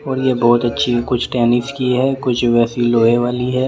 और ये बहुत अच्छी है कुछ टेनिस की है कुछ वैसी लोहे वाली है ।